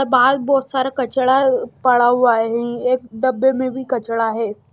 बाहर बहुत सारा कचड़ा पड़ा हुआ है एक डब्बे में भी कचड़ा है।